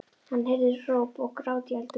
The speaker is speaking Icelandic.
Hann heyrði hróp og grát í eldhúsinu.